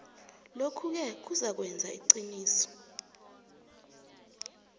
lokhuke kuzakwenza iqiniso